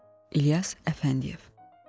İlyas Əfəndiyev.